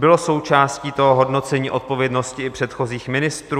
Bylo součástí toho hodnocení odpovědnosti i předchozích ministrů?